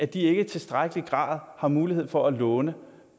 de ikke i tilstrækkelig grad har mulighed for at låne